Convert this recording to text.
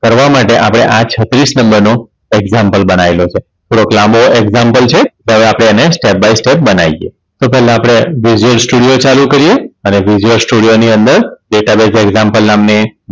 કરવા માટે આપણે આ છત્રીસ નંબરનો Example બનાયેલો છે. થોડોક લાંબો Example છે. તો હવે આપણે એને Step by step બનાઇએ તો પેહલા આપણે Studio ચાલુ કરીએ અને Studio ની અંદર Data Base Example નામની